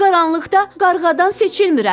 Qaranlıqda qarğadan seçilmirəm.